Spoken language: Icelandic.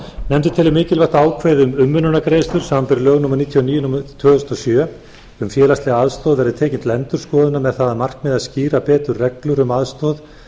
nefndin telur mikilvægt að ákvæði um umönnunargreiðslur samanber lög númer níutíu og níu tvö þúsund og sjö um félagslega aðstoð verði tekin til endurskoðunar með það að markmiði að skýra betur reglur um aðstoð